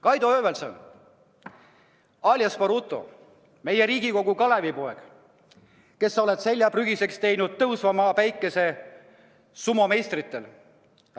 Kaido Höövelson alias Baruto, meie Riigikogu Kalevipoeg, kes sa oled selja prügiseks teinud tõusva päikese maa sumomeistritel!